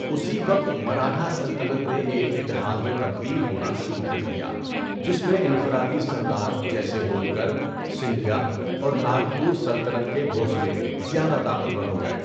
اسی وقت، مراٹھا سلطنت نے ایک اِتحاد میں تبدیل ہونا شروع کر دیا، جس میں انفرادی سردار جیسے ہولکر، سندھیا اور ناگپورسلطنت کے بھوسلے زیادہ طاقتور ہو گئے۔